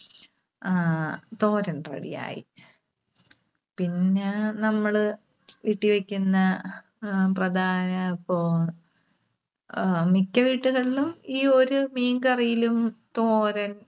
ആഹ് തോരൻ ready ആയി. പിന്നെ നമ്മള് വീട്ടിൽ വെക്കുന്ന അഹ് പ്രധാന, ഇപ്പോ ആഹ് മിക്ക വീട്ടുകളിലും ഈ ഒരു മീൻകറിയിലും തോരൻ,